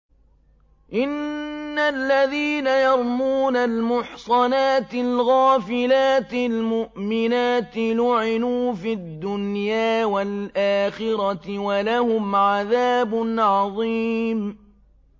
إِنَّ الَّذِينَ يَرْمُونَ الْمُحْصَنَاتِ الْغَافِلَاتِ الْمُؤْمِنَاتِ لُعِنُوا فِي الدُّنْيَا وَالْآخِرَةِ وَلَهُمْ عَذَابٌ عَظِيمٌ